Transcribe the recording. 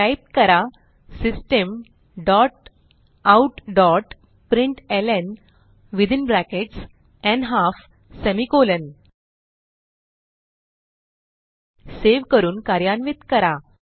type करा systemoutप्रिंटलं within brackets semicolon save करून कार्यान्वित करा